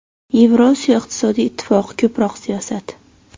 Yevrosiyo iqtisodiy ittifoqi ko‘proq siyosat.